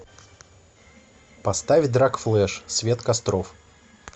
поставь драг флэш свет костров